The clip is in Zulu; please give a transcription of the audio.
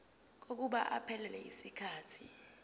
kokuba iphelele yisikhathi